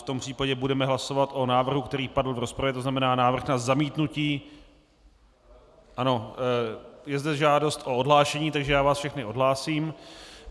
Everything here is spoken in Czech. V tom případě budeme hlasovat o návrhu, který padl v rozpravě, to znamená návrh na zamítnutí - ano je zde žádost o odhlášení, takže já váš všechny odhlásím.